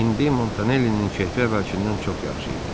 İndi Montanellinin keyfi əvvəlkindən çox yaxşı idi.